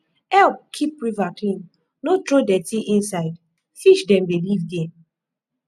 help keep river clean no throw dirty inside fish dem dey live there